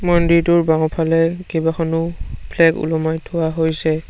মন্দিৰটোৰ বাওঁফালে কেইবাখনো ফ্লেগ ওলোমাই থোৱা হৈছে।